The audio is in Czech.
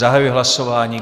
Zahajuji hlasování.